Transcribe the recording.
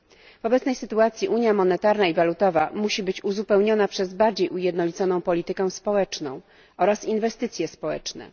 W obecnej sytuacji unia monetarna i walutowa musi być uzupełniona bardziej ujednoliconą polityką społeczną oraz inwestycjami społecznymi.